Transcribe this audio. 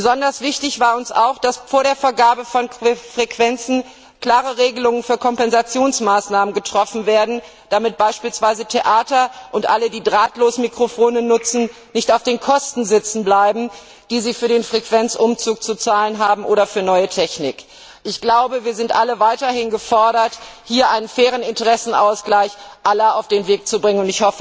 Besonders wichtig war uns auch, dass vor der Vergabe von Frequenzen klare Regelungen für Kompensationsmaßnahmen getroffen werden, damit beispielsweise Theater und alle, die Drahtlosmikrofone nutzen, nicht auf den Kosten sitzenbleiben, die sie für den Frequenzumzug oder für neue Technik zu zahlen haben. Wir sind alle weiterhin gefordert, hier einen fairen Interessenausgleich aller auf den Weg zu bringen.